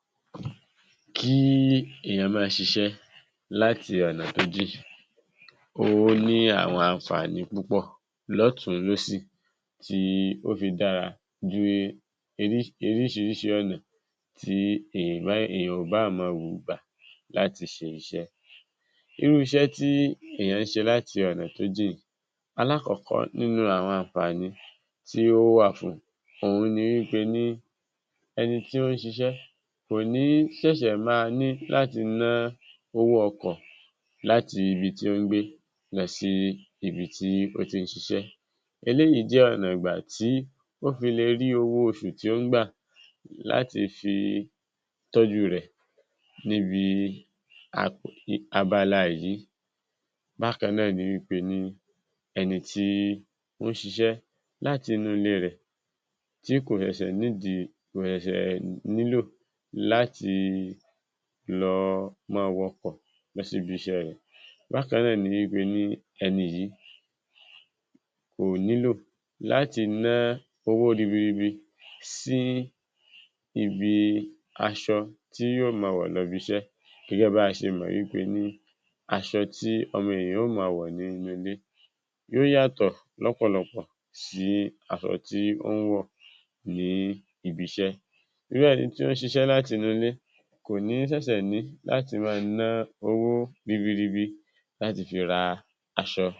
00922 Kí èèyàn máa s̩is̩é̩ láti ò̩nà jínjìn, ó ní àwo̩n àǹfààní púpò̩ ló̩tùn-ún-lósì tí ó fi dára ju orís̩ìírís̩ìí ò̩nà tí èèyàn ò bá máa gbà láti s̩e is̩é̩. Irú is̩é̩ tí èèyàn ń s̩e láti ò̩nà tó jìn, alákò̩ó̩kó̩ nínú àwo̩n àǹfààní tí ó wà fún fún ni wí pé ni e̩ni tó ń ṣis̩é̩ kò ní s̩è̩s̩è̩ máa ní láti ná owó o̩kò̩ láti ibi tó ń gbé lo̩ sí ibi tí ó ti ń s̩is̩é̩ eléyìí jé̩ ò̩nà ìgbà tí ó ti le rí owọ́ os̩ù tí ó ń gbà láti fi tó̩jú rè̩ níbi abala èyí. Bákan náà ni pé ni e̩ni tí ó ń s̩is̩é̩ láti inú ilé rè̩ tí kò s̩è̩s̩è̩ need kò s̩è̩s̩è̩ nílò láti lo máa wo̩kò̩ lọ síbi is̩é̩ rè̩. Bákan náà ni pé ni e̩ni yìí, kò nílò láti ná owó ribiribi sí ibi aṣo̩ tí yóò máa wo̩ lo̩ ibi is̩é̩ gé̩gé̩ bí a s̩e mo̩ nítorí as̩o̩ tí o̩mo̩ ènìyàn yóó máa wò̩ nínú ilé yóó yàtò̩ ló̩pò̩lo̩pò̩ sí as̩o̩ tí ó ń wò̩ ní ibi is̩é̩. Irú e̩ni tó ń s̩is̩é̩ láti inú ilé kò ní s̩è̩s̩è̩ ní láti máa ná owó ribiribi láti fi ra as̩o̩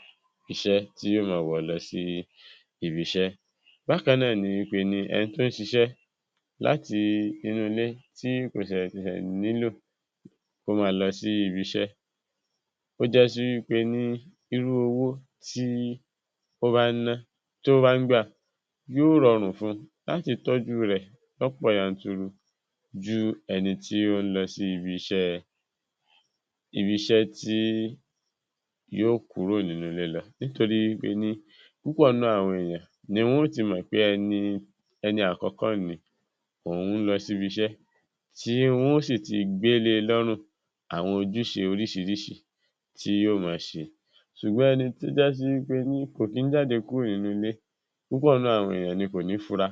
is̩é̩ tí yóó máa wo̩ lo̩ sí ibi is̩é̩. Bákan náà ni pé ni e̩ni tó ń s̩is̩é̩ láti inú ilé tí kò s̩è̩s̩è̩ nílò kó máa lo̩ sí ibi is̩é̩ ó jásí wí pé ní irú owó tí ó bá ń ná tí ó bá ń gbà yóó ro̩rùn fun láti tó̩jú rè̩ ló̩pò̩ yanturu ju e̩ni tí ó ń lo̩ sí ibi is̩é̩ tí yóò nínú ilé lo̩ nítorí ó ní púpò̩ nínú àwo̩n ènìyàn ní yóò ti mọ̀ pé e̩ni àkó̩kó̩ nì òun lo̩ sí ibi is̩é̩, tí wo̩n sì ti gbé le ló̩rùn àwo̩n ojús̩e orís̩irís̩i tí yóó máa s̩e, s̩ùgbó̩n e̩ni tó jásí pé kò kí ń jáde kúrò nínú ilé nítorí náà àwo̩n ènìyàn kò ní fura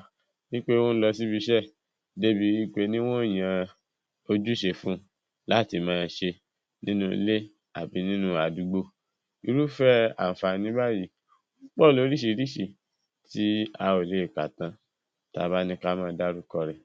wí pé ó ń lo̩ síbi is̩é̩ débi wí pé wo̩n ó yan ojús̩e fún un láti máa s̩e nínú ilé àbí nínu àdúgbò. Irúfé̩ àǹfààní báyìí ló̩nà orís̩irís̩i tí a ò kà tán tí a bá ní ká máa dárúko̩ rè̩.